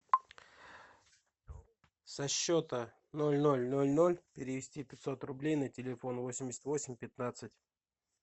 со счета ноль ноль ноль ноль перевести пятьсот рублей на телефон восемьдесят восемь пятнадцать